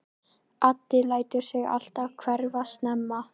Addi lætur sig alltaf hverfa snemma.